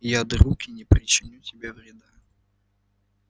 я друг и не причиню тебе вреда